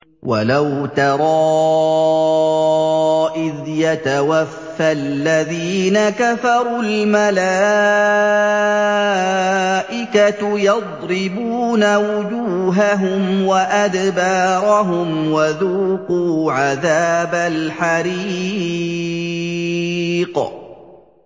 وَلَوْ تَرَىٰ إِذْ يَتَوَفَّى الَّذِينَ كَفَرُوا ۙ الْمَلَائِكَةُ يَضْرِبُونَ وُجُوهَهُمْ وَأَدْبَارَهُمْ وَذُوقُوا عَذَابَ الْحَرِيقِ